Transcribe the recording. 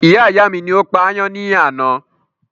Iyá ìyá mi ni ó pa ayán ní àná